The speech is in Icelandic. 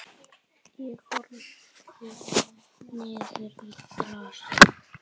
Ég horfði niður í grasið.